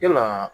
Yalaa